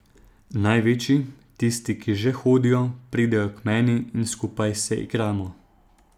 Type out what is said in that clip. Največji, tisti, ki že hodijo, pridejo k meni in skupaj se igramo.